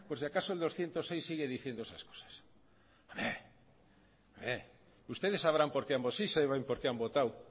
si acaso el doscientos seis sigue diciendo esas cosas ustedes sabrán por qué han votado